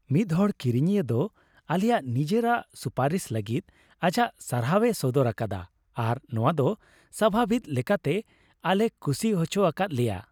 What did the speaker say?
ᱢᱤᱫᱦᱚᱲ ᱠᱤᱨᱤᱧᱤᱭᱟᱹ ᱫᱚ ᱟᱞᱮᱭᱟᱜ ᱱᱤᱡᱮᱨᱟᱜ ᱥᱩᱯᱟᱨᱤᱥ ᱞᱟᱹᱜᱤᱫ ᱟᱡᱟᱜ ᱥᱟᱨᱦᱟᱣᱮ ᱥᱚᱫᱚᱨ ᱟᱠᱟᱫᱟ ᱟᱨ ᱱᱚᱶᱟ ᱫᱚ ᱥᱟᱵᱷᱟᱵᱤᱠ ᱞᱮᱠᱟᱛᱮ ᱟᱞᱮᱭ ᱠᱩᱥᱤ ᱦᱚᱪᱚ ᱟᱠᱟᱫ ᱞᱮᱭᱟ ᱾